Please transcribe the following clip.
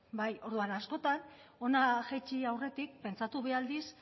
bai orduan askotan hona jaitsi aurretik pentsatu bi aldiz